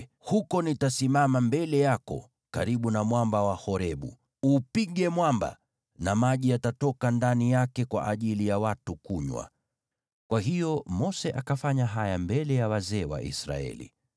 Huko nitasimama mbele yako karibu na mwamba wa Horebu. Uupige mwamba na maji yatatoka ndani yake kwa ajili ya watu kunywa.” Kwa hiyo Mose akafanya haya mbele ya wazee wa Israeli.